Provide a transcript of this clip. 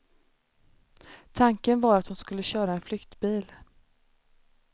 Tanken var att hon skulle köra en flyktbil.